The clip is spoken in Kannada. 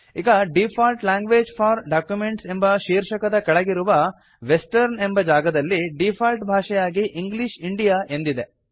ಈಗ ಡಿಫಾಲ್ಟ್ ಲ್ಯಾಂಗ್ವೇಜಸ್ ಫೋರ್ ಡಾಕ್ಯುಮೆಂಟ್ಸ್ ಎಂಬ ಶೀರ್ಷಕದ ಕೆಳಗಿರುವ ವೆಸ್ಟರ್ನ್ ಎಂಬ ಜಾಗದಲ್ಲಿ ಡೀಫಾಲ್ಟ್ ಭಾಷೆಯಾಗಿ ಇಂಗ್ಲಿಷ್ ಇಂಡಿಯಾ ಎಂದಿದೆ